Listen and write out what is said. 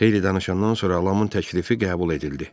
Xeyli danışandan sonra Lamın təklifi qəbul edildi.